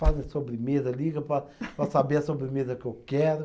Fazem sobremesa, ligam para para saber a sobremesa que eu quero.